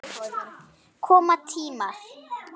Koma tímar!